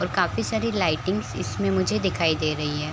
और काफी सारी लाइटिंग्स इसमें मुझे दिखाई दे रही हैं ।